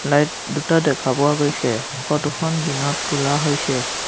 Light দুটা দেখা পোৱা গৈছে ফটো খন দিনত তোলা হৈছে।